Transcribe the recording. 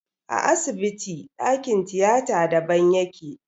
A asibiti ɗakin tiyata daban yake.